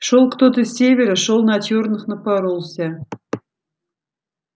шёл кто-то с севера шёл на чёрных напоролся